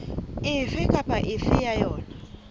efe kapa efe ya yona